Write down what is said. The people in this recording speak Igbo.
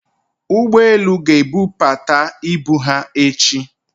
ugboelu ibu ga-ebupata ibu ha echi.